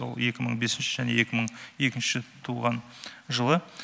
ол екі мың бесінші және екі мың екінші туылған жылы